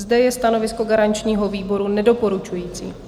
Zde je stanovisko garančního výboru nedoporučující.